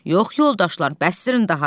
yox yoldaşlar, bəsdirin daha.